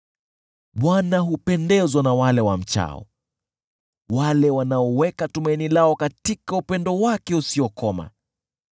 Bwana hupendezwa na wale wamchao, wale wanaoweka tumaini lao katika upendo wake usiokoma.